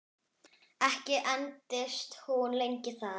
Ekki entist hún lengi þar.